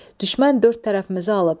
Düşmən dörd tərəfimizi alıb.